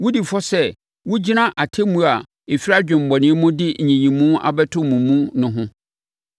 wodi fɔ sɛ wogyina atemmuo a ɛfiri adwemmɔne mu de nyiyimu abɛto mo mu no ho.